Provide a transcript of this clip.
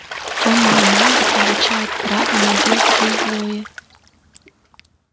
тёмные маги получают право на действие злое